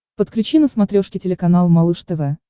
подключи на смотрешке телеканал малыш тв